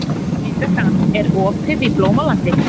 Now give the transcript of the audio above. Víbekka, er opið í Blómalandi?